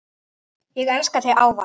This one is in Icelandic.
Ég elska þig ávallt.